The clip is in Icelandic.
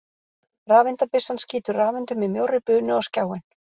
Rafeindabyssan skýtur rafeindum í mjórri bunu á skjáinn.